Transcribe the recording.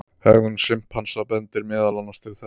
Hegðun simpansa bendir meðal annars til þess.